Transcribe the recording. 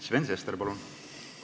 Sven Sester, palun!